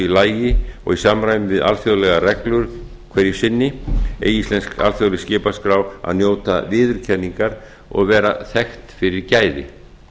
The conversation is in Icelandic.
lagi og í samræmi við alþjóðlegar reglur hverju sinni eigi íslensk alþjóðleg skipaskrá að njóta viðurkenningar og vera þekkt fyrir gæði